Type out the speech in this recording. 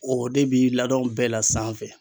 O de bi ladɔn bɛɛ la sanfɛ.